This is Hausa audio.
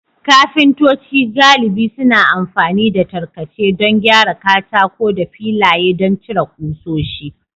Kafintoci galibi suna amfani da tarkace don gyara katako da filaye don cire ƙusoshi.